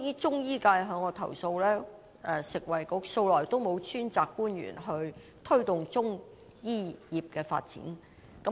中醫界向我投訴，食物及衞生局素來沒有專責官員推動中醫業發展。